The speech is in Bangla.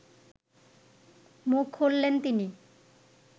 মুখ খুললেন তিনি